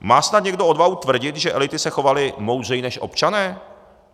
Má snad někdo odvahu tvrdit, že elity se chovaly moudřeji než občané?